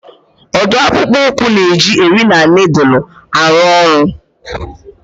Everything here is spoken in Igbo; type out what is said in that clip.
Ọ dụụ akpụkpụ ụkwụ na-eji eri na nịịdụlụ arụ ọrụ.